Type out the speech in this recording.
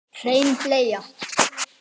Hrein bleia